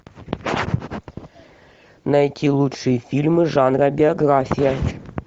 найти лучшие фильмы жанра биография